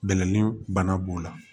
Bɛlɛnin bana b'o la